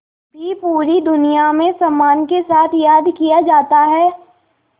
भी पूरी दुनिया में सम्मान के साथ याद किया जाता है